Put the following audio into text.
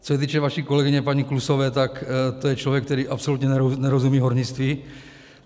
Co se týče vaší kolegyně paní Klusové, tak to je člověk, který absolutně nerozumí hornictví.